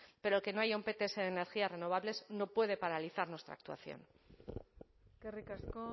pero que no haya un pts de energías renovables no puede paralizar nuestra actuación eskerrik asko